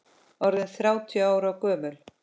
Orðinn þrjátíu ára gömul.